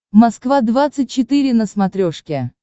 москва двадцать четыре на смотрешке